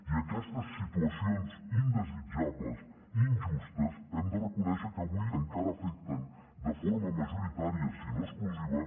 i aquestes situacions indesitjables i injustes hem de reconèixer que avui encara afecten de forma majoritària si no exclusiva